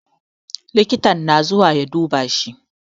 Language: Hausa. Likita na zuwa ya duba shi